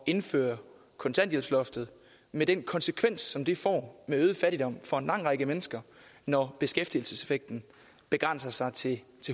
indføre kontanthjælpsloftet med den konsekvens som det får med øget fattigdom for en lang række mennesker når beskæftigelseseffekten begrænser sig til